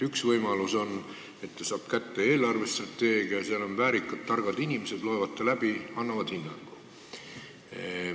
Üks võimalus on, et ta saab kätte eelarvestrateegia, seal on väärikad ja targad inimesed, kes loevad selle läbi ja annavad hinnangu.